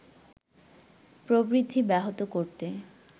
প্রবৃদ্ধি ব্যাহত করতে